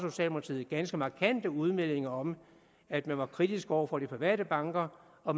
ganske markante udmeldinger om at man var kritisk over for de private banker og